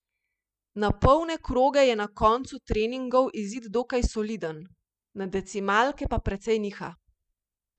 Na polne kroge je na koncu treningov izid dokaj soliden, na decimalke pa precej niha.